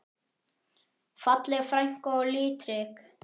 Falleg frænka og litrík.